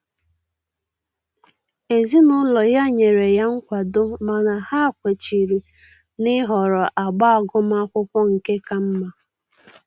Ezinụlọ ya nyere ya nkwado mana ha kwechiri na-ịhọrọ agba agụmakwụkwọ nke ka mma